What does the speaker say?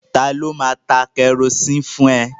Ta ló máa ta kẹrosini fún ẹ?